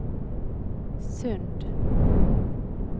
Sund